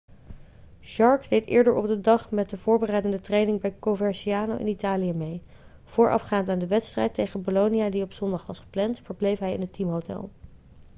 jarque deed eerder op de dag met de voorbereidende training bij coverciano in italië mee voorafgaand aan de wedstrijd tegen bolonia die op zondag was gepland verbleef hij in het teamhotel